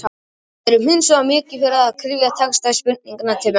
Við erum hins vegar mikið fyrir það að kryfja texta spurninganna til mergjar.